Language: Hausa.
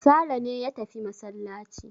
Sale ne ya tafi masallaci.